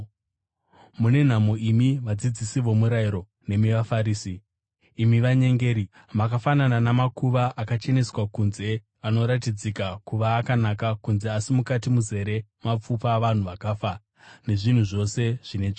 “Mune nhamo imi vadzidzisi vomurayiro nemi vaFarisi, imi vanyengeri! Makafanana namakuva akacheneswa kunze anoratidzika kuva akanaka kunze asi mukati muzere mapfupa avanhu vakafa nezvinhu zvose zvine tsvina.